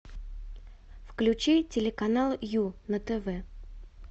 включи телеканал ю на тв